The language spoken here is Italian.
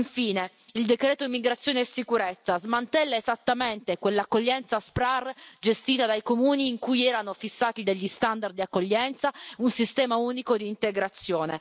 Infine, il decreto immigrazione e sicurezza smantella esattamente quell'accoglienza SPRAR gestita dai comuni in cui erano fissati degli standard di accoglienza, un sistema unico di integrazione.